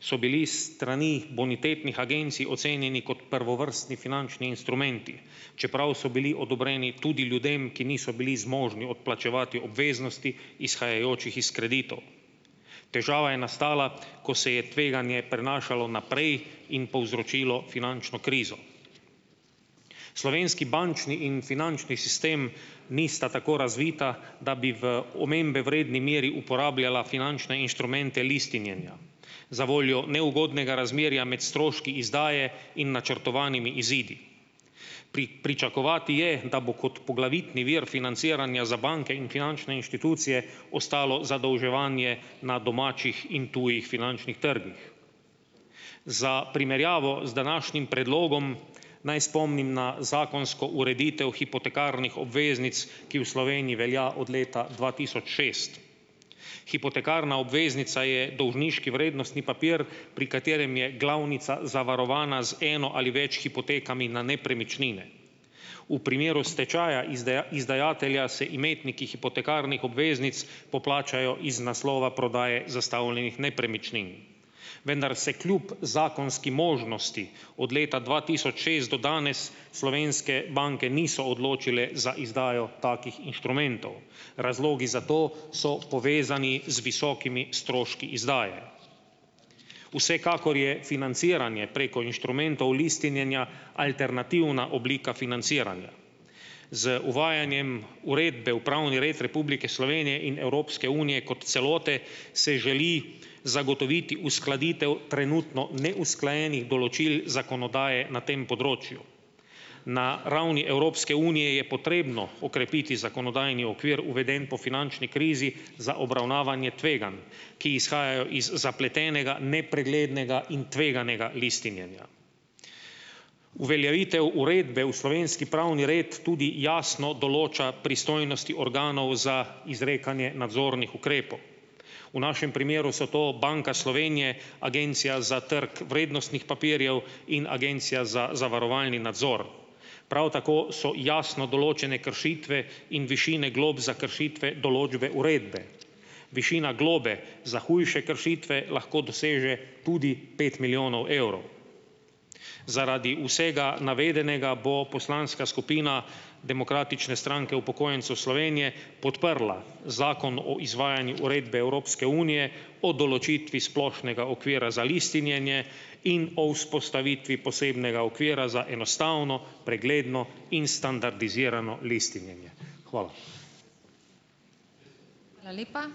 so bili s strani bonitetnih agencij ocenjeni kot prvovrstni finančni instrumenti, čeprav so bili odobreni tudi ljudem, ki niso bili zmožni odplačevati obveznosti, izhajajočih iz kreditov. Težava je nastala, ko se je tveganje prenašalo naprej in povzročilo finančno krizo. Slovenski bančni in finančni sistem nista tako razvita, da bi v omembe vredni meri uporabljala finančne inštrumente listinjenja. Za voljo neugodnega razmerja med stroški izdaje in načrtovanimi izidi. pričakovati je, da bo kot poglavitni vir financiranja za banke in finančne inštitucije ostalo zadolževanje na domačih in tujih finančnih trgih. Za primerjavo z današnjim predlogom naj spomnim na zakonsko ureditev hipotekarnih obveznic, ki v Sloveniji velja od leta dva tisoč šest. Hipotekarna obveznica je dolžniški vrednostni papir, pri katerem je glavnica zavarovana z eno ali več hipotekami na nepremičnine. V primeru stečaja izdajatelja se imetniki hipotekarnih obveznic poplačajo iz naslova prodaje zastavljenih nepremičnin. Vendar se kljub zakonski možnosti od leta dva tisoč šest do danes slovenske banke niso odločile za izdajo takih inštrumentov. Razlogi za to so povezani z visokimi stroški izdaje. Vsekakor je financiranje preko inštrumentov listinjenja alternativna oblika financiranja. Z uvajanjem uredbe v pravni red Republike Slovenije in Evropske unije kot celote, se želi zagotoviti uskladitev trenutno neusklajenih določil zakonodaje na tem področju. Na ravni Evropske unije je potrebno okrepiti zakonodajni okvir, uveden po finančni krizi za obravnavanje tveganj, ki izhajajo iz zapletenega, nepreglednega in tveganega listinjenja. Uveljavitev uredbe v slovenski pravni red tudi jasno določa pristojnosti organov za izrekanje nadzornih ukrepov. V našem primeru so to Banka Slovenije, Agencija za trg vrednostnih papirjev in Agencija za zavarovalni nadzor. Prav tako so jasno določene kršitve in višine glob za kršitve določbe uredbe. Višina globe za hujše kršitve lahko doseže tudi pet milijonov evrov. Zaradi vsega navedenega bo poslanska skupina Demokratične stranke upokojencev Slovenije podprla Zakon o izvajanju uredbe Evropske unije o določitvi splošnega okvira za listinjenje in o vzpostavitvi posebnega okvira za enostavno, pregledno in standardizirano listinjenje. Hvala. Hvala lepa.